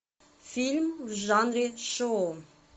фильм в жанре шоу